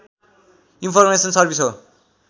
information service हो